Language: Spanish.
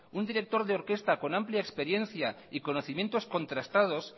un director de orquesta con amplia experiencia y conocimientos contrastados